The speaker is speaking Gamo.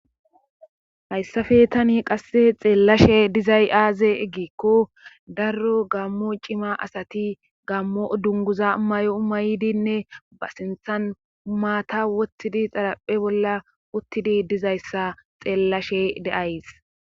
Hayssafe tani qasse xeellashe dizay aaze eggikko darro gammo cima asati gammo dunguza may7o umaydinne ba sinthan umaata wottidi xaraphe bolla uttidi dizayssa xeellashe de7ays.